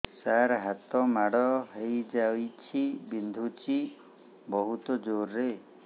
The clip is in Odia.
ସାର ହାତ ମାଡ଼ ହେଇଯାଇଛି ବିନ୍ଧୁଛି ବହୁତ ଜୋରରେ